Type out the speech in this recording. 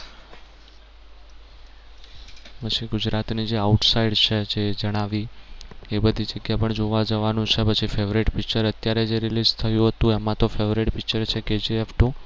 પછી જે ગુજરાત ની જે outside છે જે જણાવી એ બધી જગ્યા પણ જોવા જવાનું છે પછી favourite picture અત્યારે જે release થયું હતું એમાં તો favourite picture છે Kgf two